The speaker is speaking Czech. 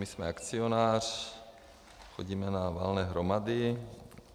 My jsme akcionář, chodíme na valné hromady.